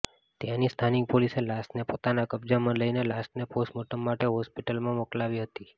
ત્યાની સ્થાનિક પોલીસે લાશને પોતાના કબજામાં લઈને લાશને પોસ્ટમોર્ટમ માટે હોસ્પીટલમાં મોકલાવી હતી